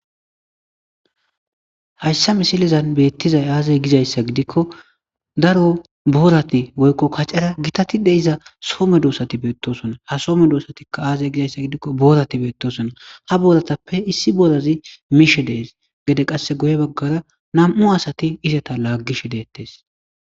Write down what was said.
hayssa misilizan beettizay aazay gizayssa gidikko daro boorati woykko kacera gitatide iza soome doossati beettosona ha soome doosatikka aazey gizayssa gidikko boorati beettosona ha booratappe issi boorazi miishe dees gede qasse goye baggara nam7u asati izata laaggish deettes